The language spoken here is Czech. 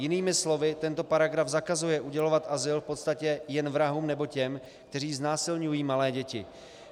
Jinými slovy, tento paragraf zakazuje udělovat azyl v podstatě jen vrahům nebo těm, kteří znásilňují malé děti.